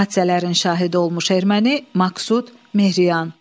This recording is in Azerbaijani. Hadisələrin şahidi olmuş erməni Maksud Mehriyan.